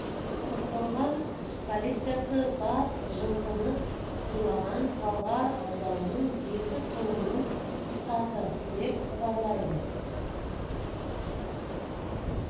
талдықорған қазан қаз алматы облысының полициясы бас жылқыны ұрлаған талғар ауданының екі тұрғынын ұстады деп хабарлайды